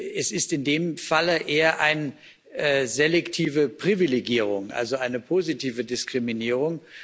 Es ist in dem Falle eher eine selektive Privilegierung, also eine positive Diskriminierung.